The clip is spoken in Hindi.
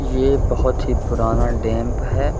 ये बहोत ही पुराना डेंप है।